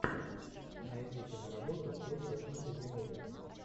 найди киноработу в духе фентези муви